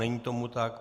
Není tomu tak.